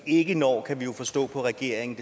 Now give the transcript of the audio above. ikke når kan vi jo forstå på regeringen